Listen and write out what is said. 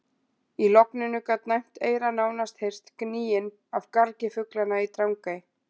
Í logninu gat næmt eyra nánast heyrt gnýinn af gargi fuglanna í Drangey.